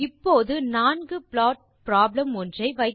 இப்போது நான்கு plot problem ஒன்றை